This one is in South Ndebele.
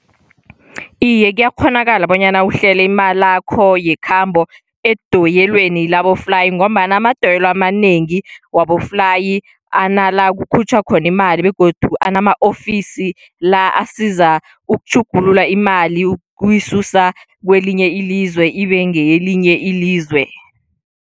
Iye, kuyakghonakala bonyana uhlele imalakho yekhambo edoyelweni laboflayi, ngombana amadoyilo amanengi waboflayi anala kukhutjhwa khona imali, begodu ama-ofisi la asiza ukutjhugulula imali ukuyisusa kwelinye ilizwe ibe ngelinye ilizwe.